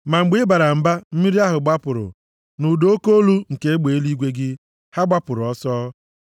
Ma mgbe ị bara mba, mmiri ahụ gbapụrụ, nʼụda oke olu nke egbe eluigwe gị, ha gbapụrụ ọsọ.